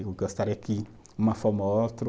Eu gostaria que, uma forma ou outro